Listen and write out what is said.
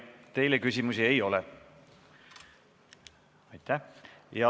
Teile küsimusi ei ole.